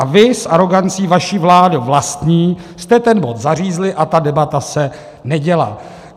A vy s arogancí vaší vládě vlastní jste ten bod zařízli a ta debata se neděla.